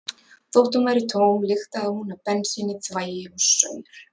Þótt hún væri tóm lyktaði hún af bensíni, þvagi og saur.